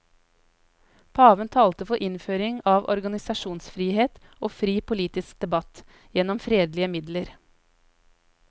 Paven talte for innføring av organisasjonsfrihet og fri politisk debatt gjennom fredelige midler.